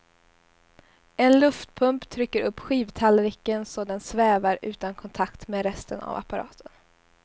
En luftpump trycker upp skivtallriken så den svävar utan kontakt med resten av apparaten.